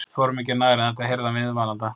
. þorum ekki nær en þetta- heyrði hann viðmælanda